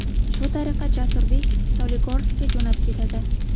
Shu tariqa Jasurbek Soligorskka jo‘nab ketadi.